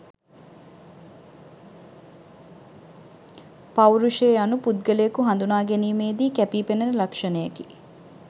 පෞරුෂය යනු පුද්ගලයකු හඳුනා ගැනීමේ දී කැපීපෙනෙන ලක්ෂණයකි.